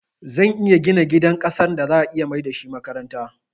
Zan iya gina gidan ƙasan da za'a iya maida shi makaranta